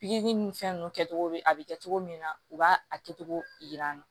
Pikiri ni fɛn ninnu kɛcogo bɛ a bɛ kɛ cogo min na u b'a a kɛcogo yira n na